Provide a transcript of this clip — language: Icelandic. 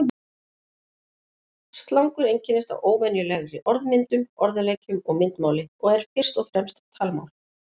Slangur einkennist af óvenjulegri orðmyndun, orðaleikjum og myndmáli og er fyrst og fremst talmál.